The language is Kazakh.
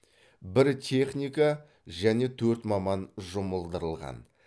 бір техника және төрт маман жұмылдырылған